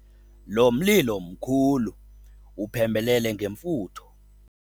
Lo mlilo mkhulu wuphembelele ngemfutho.